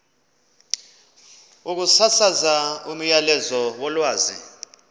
ukusasaza umyalezo wolwazi